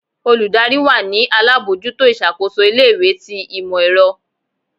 olùdarí wa ni alabọjuto iṣakoso ilé ìwé tí imọ-ẹrọ